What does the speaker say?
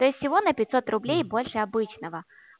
то есть всего на пятьсот рублей больше обычного